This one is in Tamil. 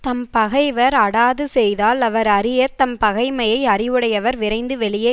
தம்பகைவர் அடாது செய்தால் அவர் அறிய தம் பகைமையை அறிவுடையவர் விரைந்து வெளியே